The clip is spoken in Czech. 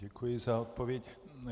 Děkuji za odpověď.